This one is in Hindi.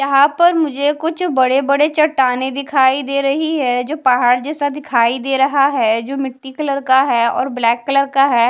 यहाँ पर मुझे कुछ बड़े बड़े चट्टानें दिखाई दे रही हैं जो पहाड़ जैसा दिखाई दे रहा है जो मिट्टी कलर का है और ब्लैक कलर का है।